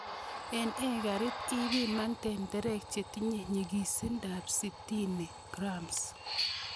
En ekarit ipinan tenderek chetinye nyikisindab 60 g.